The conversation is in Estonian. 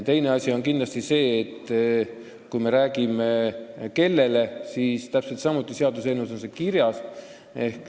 Teine asi on, et kui me räägime sellest, et kellele, siis see on täpselt samuti seaduseelnõus kirjas.